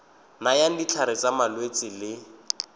nayang ditlhare tsa malwetse le